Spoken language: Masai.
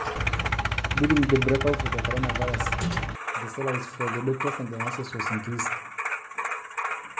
Etoponayioki lmshaarani loo lkitarini o naasi tenkata olmeitai le koronavirus